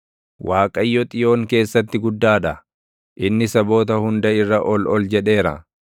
Waaqayyo Xiyoon keessatti guddaa dha; inni saboota hunda irra ol ol jedheera.